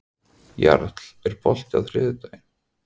Jarl, er bolti á þriðjudaginn?